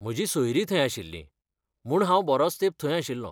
म्हजीं सोयरीं थंय आशिल्लीं, म्हूण हांव बरोच तेंप थंय आशिल्लों.